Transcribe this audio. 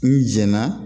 N jɛnna